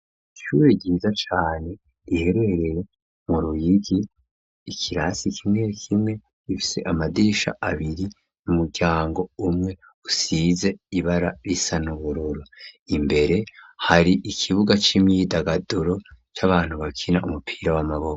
Ishure ryiza cane, riherereye mu ruyigi, ikirasi kimwe kimwe gifise amadirisha abiri, n'umuryango umwe usize ibara risa n'ubururu, imbere hari ikibuga c'imyidagaduro c'abantu bakina umupira w'amaboko.